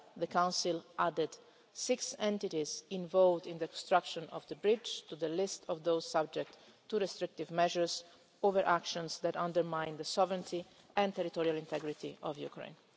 The Council added six entities involved in the construction of the bridge to the list of those subject to restrictive measures over actions that undermine the sovereignty and territorial integrity of Ukraine.